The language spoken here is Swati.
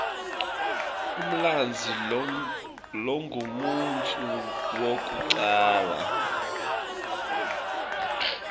umlandzi longumuntfu wekucala